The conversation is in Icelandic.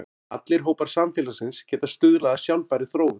Allir hópar samfélagsins geta stuðlað að sjálfbærri þróun.